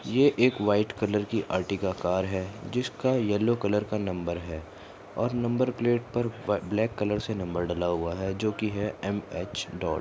ये एक white colour की अरटिगा कार है जिसका येल्लो कलर का नंबर है और नंबर प्लेट पर प-ब्लैक कलर से नंबर डला हुआ है जो की है एम_एच डॉट --